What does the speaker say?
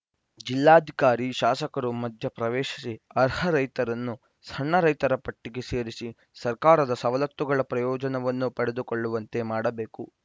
ಜಿಲ್ಲಾಧಿಕಾರಿ ಶಾಸಕರು ಮಧ್ಯ ಪ್ರವೇಶಿಸಿ ಅರ್ಹ ರೈತರನ್ನು ಸಣ್ಣ ರೈತರ ಪಟ್ಟಿಗೆ ಸೇರಿಸಿ ಸರ್ಕಾರದ ಸವಲತ್ತುಗಳ ಪ್ರಯೋಜನವನ್ನು ಪಡೆದುಕೊಳ್ಳುವಂತೆ ಮಾಡಬೇಕು